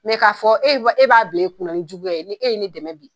Ne k'a fɔ e b'a bila kunna ni juguya ye, ni, e ye ne dɛmɛ bi